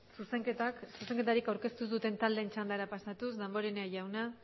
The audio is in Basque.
zuzenketarik aurkeztu ez duten taldeen txandara pasatuz damborenea jauna